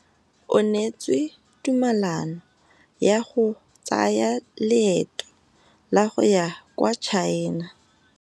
O neetswe tumalanô ya go tsaya loetô la go ya kwa China.